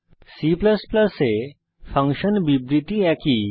C এ function বিবৃতি একই